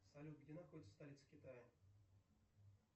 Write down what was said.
салют где находится столица китая